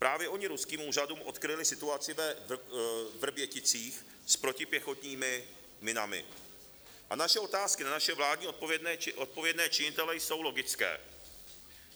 Právě oni ruským úřadům odkryli situaci ve Vrběticích s protipěchotními minami a naše otázky na naše vládní odpovědné činitele jsou logické: